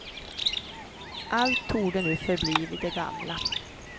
Allt torde nu förbli vid det gamla.